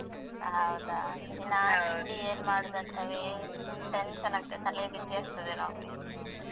ಹೌದಾ. ದಿನಾಲು ತಿಂಡಿ ಏನ್ ಮಾಡುದಂತವೇ tension ಆಗ್ತದೆ, ತಲೆ ಬಿಸಿ ಆಗ್ತದೆ ನಮ್ಗೆ.